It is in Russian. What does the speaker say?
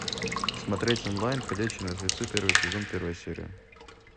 смотреть онлайн ходячие мертвецы первый сезон первая серия